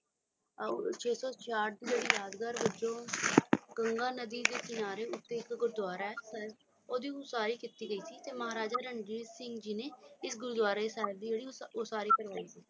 ਛੇ ਸੌ ਛੇਸੱਠ ਦੀ ਯਾਦਗਾਰ ਵਿੱਚੋਂ ਗੰਗਾ ਨਦੀ ਦੇ ਕਿਨਾਰੇ ਉੱਤੇ ਇੱਕ ਗੁਰਦੁਆਰਾ ਹੈ ਉਹ ਦੀ ਉਸਾਰੀ ਕੀਤੀ ਗਈ ਤੇ ਮਹਾਰਾਜਾ ਰਣਜੀਤ ਸਿੰਘ ਜੀ ਨੇ ਗੁਰਦੁਆਰੇ ਦੀ ਉਸਾਰੀ ਕਰੋ